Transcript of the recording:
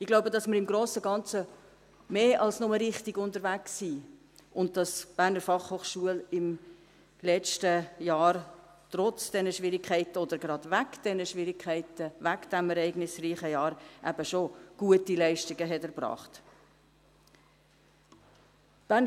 Ich glaube, dass wir im Grossen und Ganzen mehr als nur richtig unterwegs sind und dass die BFH im letzten Jahr trotz dieser Schwierigkeiten oder gerade wegen dieser Schwierigkeiten, wegen dieses ereignisreichen Jahrs, gute Leistungen erbracht hat.